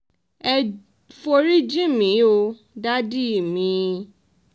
ẹ forí jìn mí o dádì mi